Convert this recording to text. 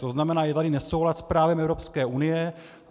To znamená, je tady nesoulad s právem Evropské unie.